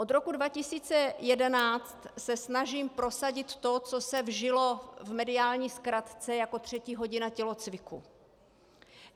Od roku 2011 se snažím prosadit to, co se vžilo v mediální zkratce jako třetí hodina tělocviku.